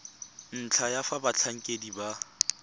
ntlha ya fa batlhankedi ba